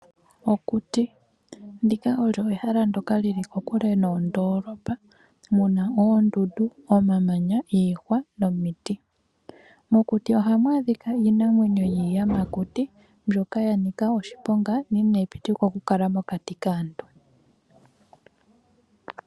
Okuti, ndika olyo ehala ndyoka lili ko kule noondolopa. Muna oondundu omamanya nomiiti. Mokuti ohamu adhikwa iinamwenyo yiiyamakuti mbyoka ya nika oshiponga na inayi pitikwa oku kala mokati kaantu.